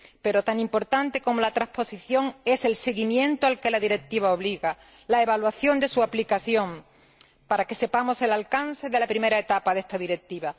Pero tan importante como la transposición es el seguimiento al que la Directiva obliga, la evaluación de su aplicación para que conozcamos el alcance de la primera etapa de esta Directiva.